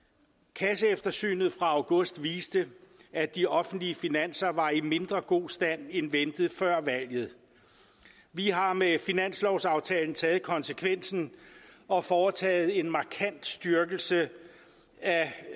kasseeftersynet fra august viste at de offentlige finanser var i mindre god stand end ventet før valget vi har med finanslovsaftalen taget konsekvensen og foretaget en markant styrkelse af